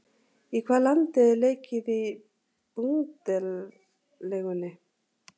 Í hvaða landi er leikið í Bundesligunni?